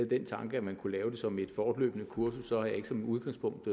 den tanke at man kunne lave det som et fortløbende kursus så har jeg ikke som udgangspunkt